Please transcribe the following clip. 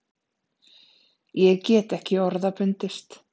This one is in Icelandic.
Ég get ekki orða bundist.